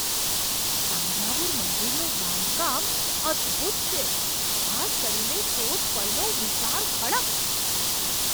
તાન્જાવુર મંદિરનું બાંધકામ અદભૂત છે, ખાસ કરીને ટોચ પરનો વિશાળ ખડક.